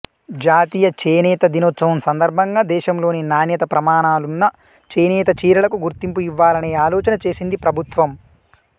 జాతీయ చేనేత దినోత్సవం సందర్భంగా దేశంలోని నాణ్యత ప్రమాణాలున్న చేనేత చీరలకు గుర్తింపు ఇవ్వాలనే ఆలోచన చేసింది ప్రభుత్వం